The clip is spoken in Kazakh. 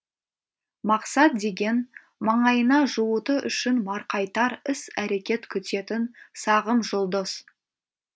мақсат деген маңайына жуыту үшін марқайтар іс әрекет күтетін сағым жұлдыз